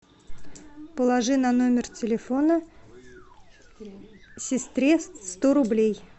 положи на номер телефона сестре сто рублей